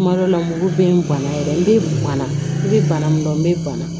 Kuma dɔ la mugu bɛ n banna yɛrɛ n bɛ ganna i bɛ bana min dɔn n bɛ bana